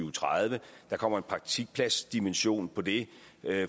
og tredive der kommer en praktikpladsdimension på det